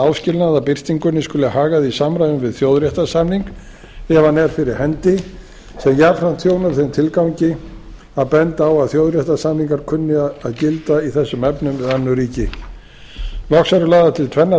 áskilnað í þessu ákvæði að birtingunni skuli hagað í samræmi við þjóðréttarsamning ef hann er fyrir hendi sem jafnframt þjónar þeim tilgangi að benda á að þjóðréttarsamningar kunni að gilda í þessum efnum við önnur ríki loks eru lagðar til tvennar